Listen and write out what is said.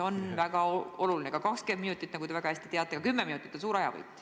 See on väga oluline, ka 20 minutit – nagu te väga hästi teate – ja ka 10 minutit on suur ajavõit.